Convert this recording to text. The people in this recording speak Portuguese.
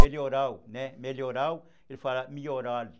Melhoral, né, melhoral, ele falava, milhorali.